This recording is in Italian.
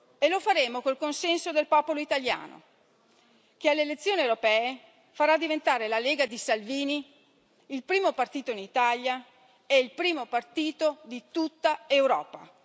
E lo faremo col consenso del popolo italiano, che alle elezioni europee farà diventare la Lega di Salvini il primo partito in Italia e il primo partito di tutta Europa.